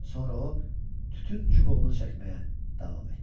Sonra o tütün çubuğunu çəkməyə davam etdi.